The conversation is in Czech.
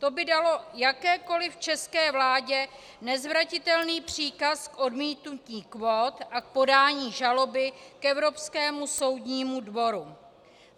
To by dalo jakékoliv české vládě nezvratitelný příkaz k odmítnutí kvót a k podání žaloby k Evropskému soudnímu dvoru.